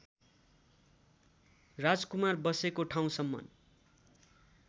राजकुमार बसेको ठाउँसम्म